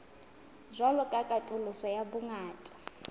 jwalo ka katoloso ya bongata